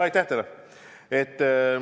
Aitäh teile!